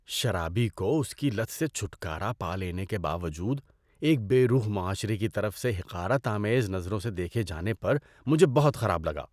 شرابی کو اس کی لت سے چھٹکارا پا لینے کے باوجود ایک بے روح معاشرے کی طرف سے حقارت آمیز نظروں سے دیکھے جانے پر مجھے بہت خراب لگا۔